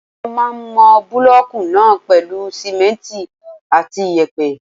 Wọ́n máà ń mọ búlọ̀kù náà pèlú simẹ́ntì àti iyẹ̀pẹ̀.